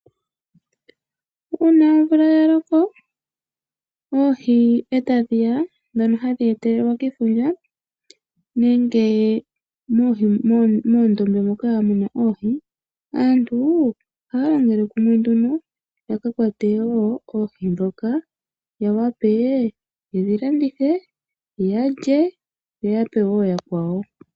Una omvula yaloka oohi eta dhiya dhono hadhi etelelwa kefundja nenge moondombe moka muna oohi. Aantu ohaya longele kumwe wo yaka kwate oohi dhoka. Ya wape yedhi landithe, yalye yoya pewo ooyakwawo.